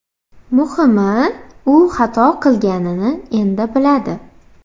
Muhimi u xato qilganini endi biladi.